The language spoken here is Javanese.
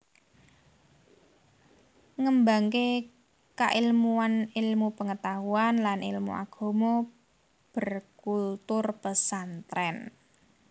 Ngembangké kailmuan ilmu pengetahuan lan ilmu Agama berkultur Pesantrèn